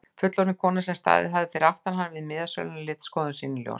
Fullorðin kona sem staðið hafði fyrir aftan hann við miðasöluna lét skoðun sína í ljós.